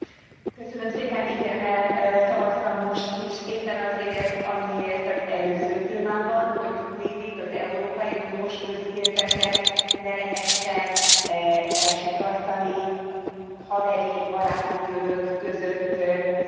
Igennel szavaztam most is éppen azért, amiért az előző témában, hogy tudniillik az európai uniós közpénzeket ne lehessen elsikkasztani, haveri, baráti körök között szétosztani.